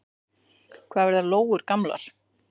Hvað verða lóur gamlar?